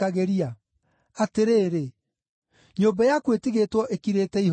Atĩrĩrĩ, nyũmba yaku ĩtigĩtwo ĩkirĩte ihooru.